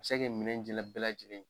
minɛ jɛla bɛɛ lajɛlen